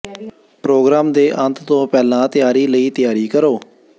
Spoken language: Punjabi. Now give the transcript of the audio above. ਪ੍ਰੋਗਰਾਮ ਦੇ ਅੰਤ ਤੋਂ ਪਹਿਲਾਂ ਤਿਆਰੀ ਲਈ ਤਿਆਰੀ ਕਰੋ